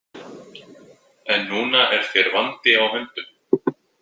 En núna er þér vandi á höndum.